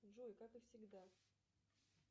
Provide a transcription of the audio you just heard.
джой как и всегда